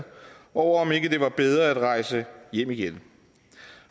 over om ikke det var bedre at rejse hjem igen